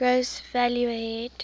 gross value added